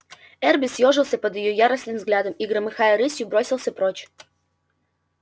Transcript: эрби съёжился под её яростным взглядом и громыхая рысью бросился прочь